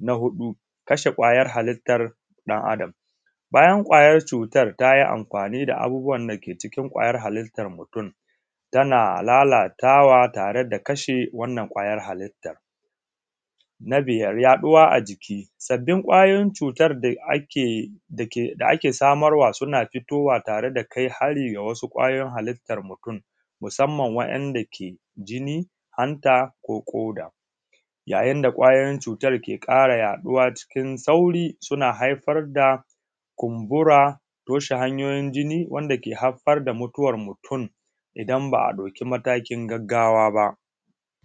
na huɗu kashe kwayan halittar ɗan’Adam bayan kwayar cutan ta yi amfani da abun da ke cikin kwayan halittan ɗan’Adam tana lalatawa ne tare da kashe kwayan halittan na biyar yaɗuwa a jiki sabbin kwayoyin halitta da ake samarwa, suna fitowa tare da kai hari ga wasu kwayoyin cutar halittan mutun musamman wanda ke jini, hanta ko koda yayin da kwayoyin cutan ke ƙara yaɗuwa cikin sauri suna haifar da kumbura, toshewan hanyoyin jini wanda ke haifar da mutuwan mutun idan ba a ɗauki matakin gaggawa ba.